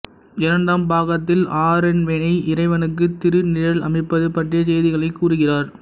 இரண்டாம் பாகத்தில் ஆறென்விளை இறைவனுக்கு திருநிழல் அமைப்பது பற்றிய செய்திகளைக் கூறுகிறார்